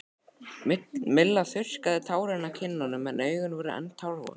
Milla þurrkaði tárin af kinnunum en augun voru enn tárvot.